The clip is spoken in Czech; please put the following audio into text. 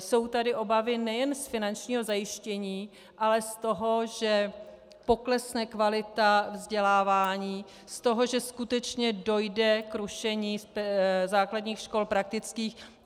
Jsou tady obavy nejen z finančního zajištění, ale z toho, že poklesne kvalita vzdělávání, z toho, že skutečně dojde k rušení základních škol praktických.